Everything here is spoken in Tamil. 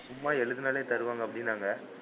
சும்மா எழுதுனாலே தருவாங்க அப்படின்னாங்க,